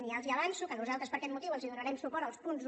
i ja els avanço que nosaltres per aquest motiu els donarem suport als punts un